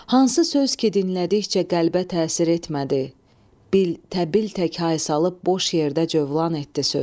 Hansı söz ki, dinlədikcə qəlbə təsir etmədi, bil təbil tək hay salıb boş yerdə cövlan etdi söz.